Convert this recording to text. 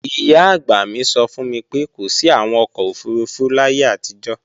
Ìyá-àgbà mi sọ fún mi pé kò sí àwọn ọkọ̀ òfurufú láyé àtijọ́